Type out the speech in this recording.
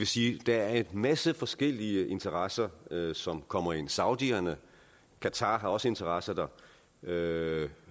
sige at der er en masse forskellige interesser som kommer ind saudierne og qatar har også interesser derinde